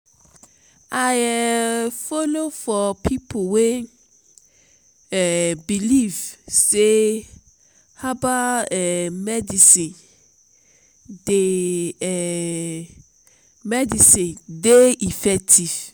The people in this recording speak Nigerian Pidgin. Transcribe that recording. i um folo for pipo wey um believe sey herbal um medicine dey um medicine dey effective.